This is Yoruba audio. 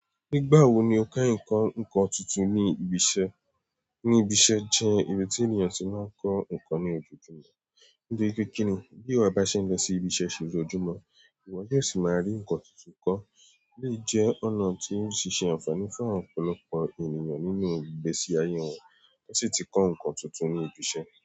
Nígbà wo ni o ká ǹkan tuntun ní ibi iṣẹ́? Níbi iṣẹ́ jẹ́ ibi tí ènìyàn ti máa ń kọ́ ǹkan ní ojoojúmọ́. Níbi kékeré, bí ìwọ bá ṣe ń lọ sí ibi iṣẹ́ ṣéṣú ojúmọ́, ìwọ yóò sì máa rí ǹkan tuntun kọ́. Lé jẹ́ ọ̀nà tí ó ṣe é ṣe àǹfààní fún ọ̀pọ̀lọpọ̀ ènìyàn nínú ìgbésí ayé wọn tó sì ti kọ́ ǹkan tuntun ní ibi iṣẹ́.